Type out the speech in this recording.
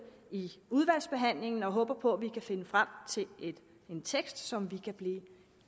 i udvalgsbehandlingen og vi håber på at vi kan finde frem til en tekst som vi kan blive